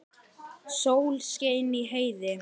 Sól skein í heiði.